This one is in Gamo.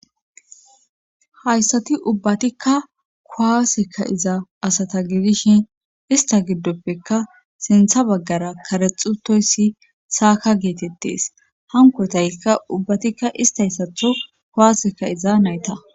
hayssati ubbatikka kuwaasekka iza asata gidishin ista giddoppeka sintha baggara karexutoyssi saaka geetettees hankotaykka ubbatikka ista hyssatho kuwaaseka iza nayta